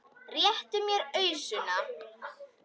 Réttu mér ausuna!